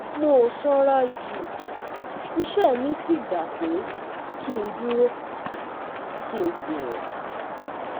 Mò sanra jù, iṣẹ́ mi sì gba pé kí n dúró, kí n sì rìn